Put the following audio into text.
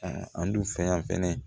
Aa an dun fɛ yan fɛnɛ